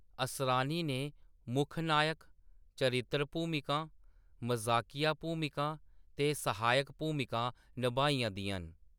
असरानी ने मुक्ख नायक, चरित्तर भूमिकां, मजाकिया भूमिकां ते सहायक भूमिकां नभाइयां दियां न।